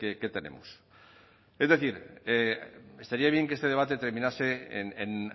que tenemos es decir estaría bien que este debate terminase en